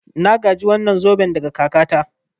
Na gaji wannan zoben daga kakata.